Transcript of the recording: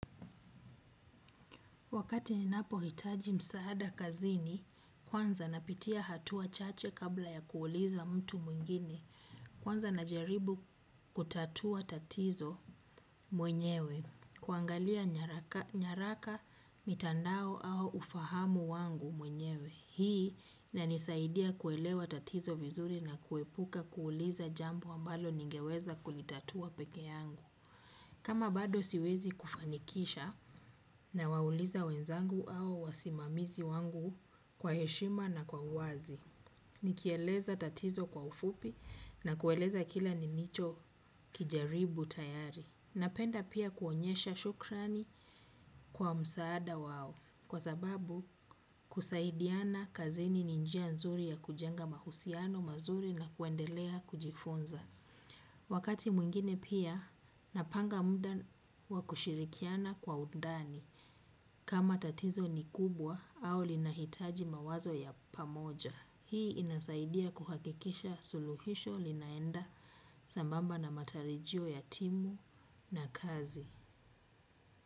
Wakati ninapo hitaji maasada kazini kwanza napitia hatua chache kabla ya kuuliza mtu mwingine kwanza najaribu kutatua tatizo mwenyewe, kuangalia nyaraka mitandao au ufahamu wangu mwenyewe, hii inanisaidia kuelewa tatizo vizuri na kuepuka kuuliza jambo ambalo ningeweza kulitatua pekee yangu. Kama bado siwezi kufanikisha nawauliza wezangu au wasimamizi wangu kwa heshima na uwazi. Nikieleza tatizo kwa ufupi na kueleza kila nilicho kijaribu tayari. Napenda pia kuonyesha shukrani kwa msaada wao kwa sababu kusaidiana kazini ninjia nzuri ya kujenga mahusiano mazuri na kuendelea kujifunza. Wakati mwingine pia napanga muda wakushirikiana kwa undani kama tatizo ni kubwa au linahitaji mawazo ya pamoja. Hii inasaidia kuhakikisha suluhisho linaenda sambamba na matarijio ya timu na kazi.